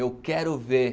Eu quero ver.